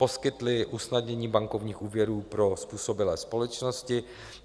Poskytli usnadnění bankovních úvěrů pro způsobilé společnosti.